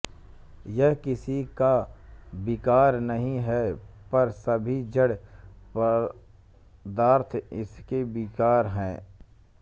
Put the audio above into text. यह किसी का विकार नहीं है पर सभी जड़ पदार्थ इसके विकार हैं